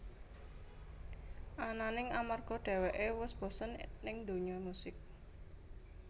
Ananing amarga dheweké wus bosen ning dunya musik